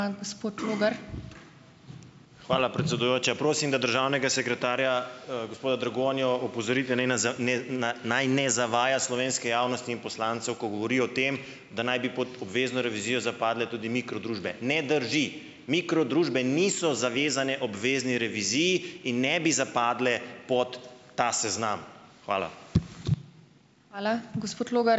Hvala, predsedujoča. Prosim, da državnega sekretarja, gospoda Dragonjo opozorite, naj ne ne naj ne zavaja slovenske javnosti in poslancev, ko govori o tem, da naj bi pod obvezno revizijo zapadle tudi mikro družbe. Ne drži. Mikro družbe niso zavezane obvezni reviziji in ne bi zapadle pod ta seznam. Hvala.